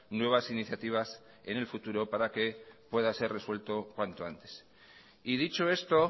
nuevas iniciativas en el futuro para que pueda ser resuelto cuanto antes y dicho esto